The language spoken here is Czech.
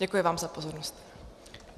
Děkuji vám za pozornost.